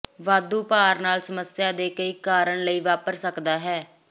ਵਾਧੂ ਭਾਰ ਨਾਲ ਸਮੱਸਿਆ ਦੇ ਕਈ ਕਾਰਨ ਲਈ ਵਾਪਰ ਸਕਦਾ ਹੈ